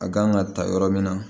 A kan ka ta yɔrɔ min na